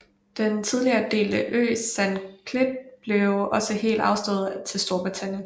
Den tidligere delte ø Saint Kitts blev også helt afstået til Storbritannien